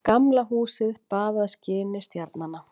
Gamla húsið baðað skini stjarnanna.